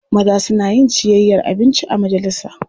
Maza suna yin ciyayyar abinci a majalisa.